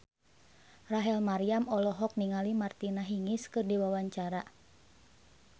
Rachel Maryam olohok ningali Martina Hingis keur diwawancara